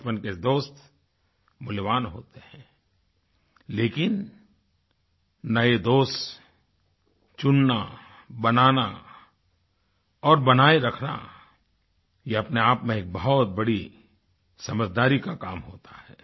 बचपन के दोस्त मूल्यवान होते हैं लेकिन नये दोस्त चुनना बनाना और बनाए रखना यह अपने आप में एक बहुत बड़ी समझदारी का काम होता है